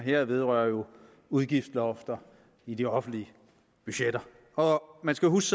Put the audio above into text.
her vedrører jo udgiftslofter i de offentlige budgetter man skal huske